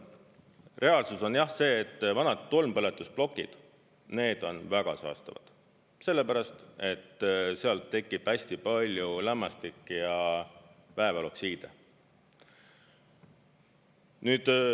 Reaalsus on jah see, et vanad tolmpõletusplokid need on väga saastavad, sellepärast et seal tekib hästi palju lämmastik‑ ja vääveloksiide.